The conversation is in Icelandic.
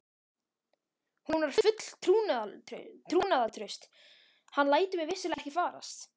Hún var full trúnaðartrausts: hann lætur mig vissulega ekki farast.